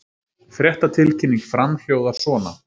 Fréttatilkynning Fram hljóðar svona